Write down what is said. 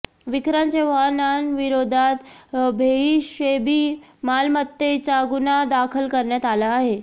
विक्रांत चव्हाणांविरोधात बेहिशेबी मालमत्तेचा गुन्हा दाखल करण्यात आला आहे